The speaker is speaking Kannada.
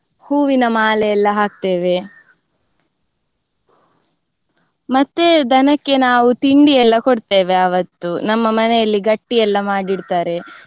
ಹೂವಿನ ಮಾಲೆ ಎಲ್ಲ ಹಾಕ್ತೇವೆ. ಮತ್ತೆ ದನಕ್ಕೆ ನಾವು ತಿಂಡಿ ಎಲ್ಲ ಕೊಡ್ತೇವೆ ಆವತ್ತು ನಮ್ಮ ಮನೆಯಲ್ಲಿ ಗಟ್ಟಿ ಎಲ್ಲಾ ಮಾಡಿಡ್ತಾರೆ,